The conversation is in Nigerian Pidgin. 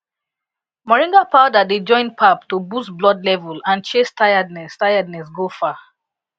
moringa powder dey join pap to boost blood level and chase tiredness tiredness go far